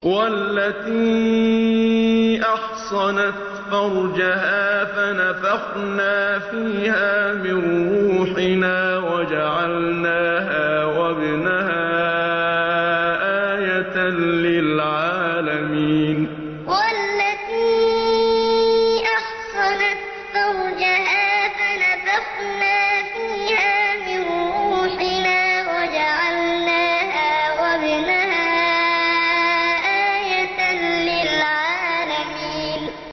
وَالَّتِي أَحْصَنَتْ فَرْجَهَا فَنَفَخْنَا فِيهَا مِن رُّوحِنَا وَجَعَلْنَاهَا وَابْنَهَا آيَةً لِّلْعَالَمِينَ وَالَّتِي أَحْصَنَتْ فَرْجَهَا فَنَفَخْنَا فِيهَا مِن رُّوحِنَا وَجَعَلْنَاهَا وَابْنَهَا آيَةً لِّلْعَالَمِينَ